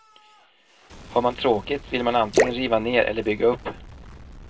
Har man tråkigt vill man antingen riva ner eller bygga upp.